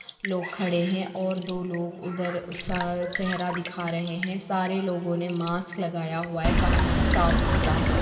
लोग खड़े हैं और दो लोग उधर स चहेरा दिखा रहें हैं सारे लोगो ने मास्क लगाया हुआ है कहीती साफ सुतरा है।